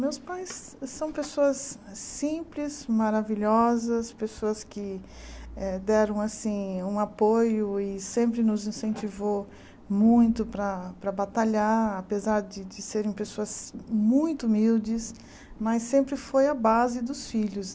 Meus pais são pessoas simples, maravilhosas, pessoas que eh deram um apoio e sempre nos incentivou muito para para batalhar, apesar de serem pessoas muito humildes, mas sempre foi a base dos filhos.